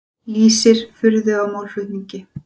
Lýsir furðu á málflutningi